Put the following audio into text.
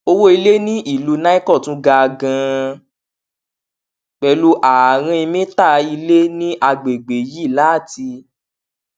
owó ilè ní ìlú nicon tún ga ganan pẹlú ààrin mítà ilè ní àgbègbè yìí láti